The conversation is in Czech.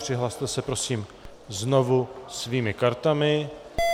Přihlaste se prosím znovu svými kartami.